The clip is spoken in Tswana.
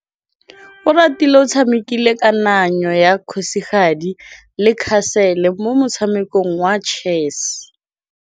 Oratile o tshamekile kananyô ya kgosigadi le khasêlê mo motshamekong wa chess.